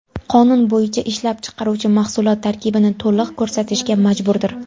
Qonun bo‘yicha ishlab chiqaruvchi mahsulot tarkibini to‘liq ko‘rsatishga majburdir.